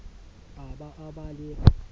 a ba a ba le